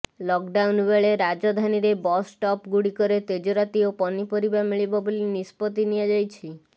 lockdown ବେଳେ ରାଜଧାନୀରେ bus stop ଗୁଡ଼ିକରେ ତେଜରାତି ଓ ପନିପରିବା ମିଳିବ ବୋଲି ନିଷ୍ପତି ନିଆଯାଇଛି